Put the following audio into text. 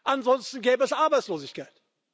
Ansonsten gäbe es Arbeitslosigkeit.